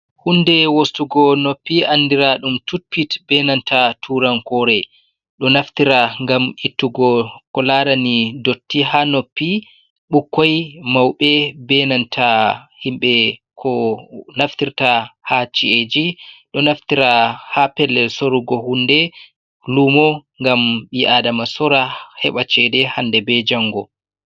Hunde wostugo noppi andira ɗum tutpit benanta turan kore, ɗo naftira ngam ittugo ko larani dotti ha noppi ɓukkoi, mauɓe, benanta himɓe ko naftirta ha ci'eji, ɗo naftira ha pellel sorugo hunde lumo ngam bi'adama sora heɓa cede hande be jango.